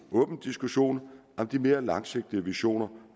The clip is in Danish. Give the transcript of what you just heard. åben diskussion om de mere langsigtede visioner